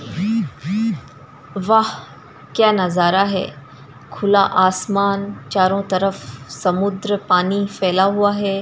वहाँ क्या नजारा है खुला आसमान चारों तरफ समुन्द्र पानी फैला हुआ है।